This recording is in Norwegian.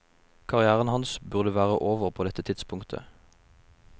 Karrieren hans burde være over på dette tidspunktetet.